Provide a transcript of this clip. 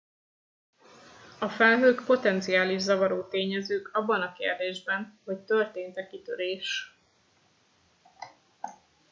a felhők potenciális zavaró tényezők abban a kérdésben hogy történt e kitörés